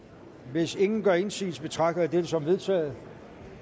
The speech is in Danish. hvis ingen gør indsigelse betragter jeg dette som vedtaget